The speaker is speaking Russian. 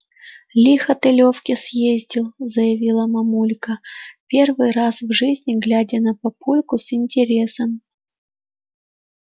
лихо ты лёвке съездил заявила мамулька первый раз в жизни глядя на папульку с интересом